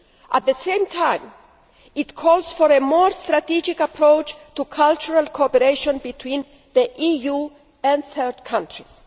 At the same time, it calls for a more strategic approach to cultural cooperation between the EU and third countries.